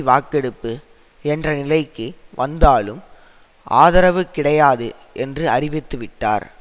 வாக்கெடுப்பு என்ற நிலைக்கு வந்தாலும் ஆதரவு கிடையாது என்று அறிவித்துவிட்டார்